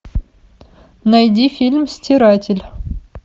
найди фильм стиратель